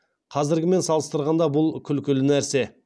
қазіргімен салыстырғанда бұл күлкілі нәрсе